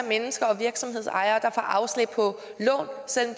mennesker og virksomhedsejere der får afslag på lån selv